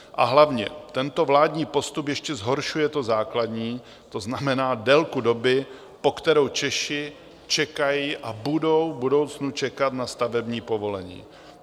A hlavně, tento vládní postup ještě zhoršuje to základní, to znamená délku doby, po kterou Češi čekají a budou v budoucnu čekat na stavební povolení.